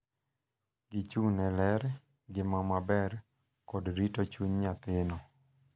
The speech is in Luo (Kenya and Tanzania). Gichung’ ne ler, ngima maber, kod rito chuny nyathino.